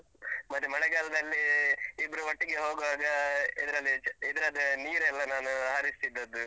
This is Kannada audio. ಮತ್ತೆ ಮಳೆಗಾಲದಲ್ಲಿ ಇಬ್ರು ಒಟ್ಟಿಗೆ ಹೋಗುವಾಗ ಇದ್ರಲ್ಲಿ, ಇದ್ರದ್ದು ನೀರೆಲ್ಲ ನಾನು ಹಾರಿಸ್ತಿದ್ದದ್ದು.